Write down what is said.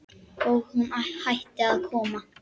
Og hún hætti að koma.